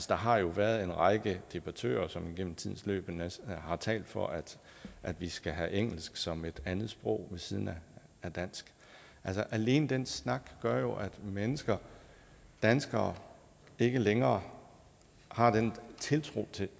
der har jo været en række debattører som igennem tiden har talt for at at vi skal have engelsk som andetsprog ved siden af dansk alene den snak gør jo at mennesker danskere ikke længere har den tiltro